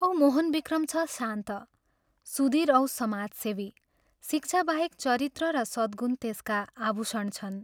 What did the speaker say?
औ मोहनविक्रम छ शान्त, सुधीर औ समाजसेवी शिक्षा बाहेक चरित्र र सद्गुण त्यसका आभूषण छन्।